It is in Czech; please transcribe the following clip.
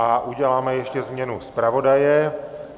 A uděláme ještě změnu zpravodaje.